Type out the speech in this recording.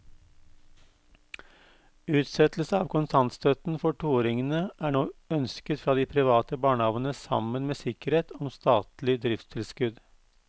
Utsettelse av kontantstøtten for toåringene er nå ønsket fra de private barnehavene sammen med sikkerhet om statlig driftstilskudd.